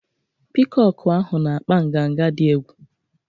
Piikọkụ ahụ na-akpa nganga dị egwu.